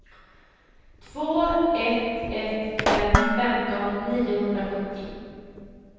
två ett ett fem femton niohundrasjuttio